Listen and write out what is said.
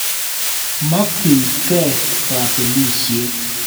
Mokchin key kapelisyet.